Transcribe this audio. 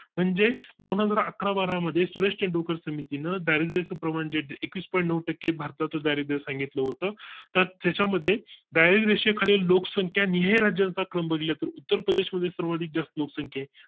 म्हणजे दोनहजार अकरा बारा मध्ये सुरेशतेंडुलकर समितीने दारिद्र प्रमाणे एकवीस point नऊ टक्के भारतात दारिद्र्या सांगितलं होतं तर त्याच्या मध्ये दारिद्र रेषेखालील लोकसंख्या निहार राज्याचा क्रम बघितला तर उत्तर प्रदेश मध्ये सर्वात जास्त लोकसंख्या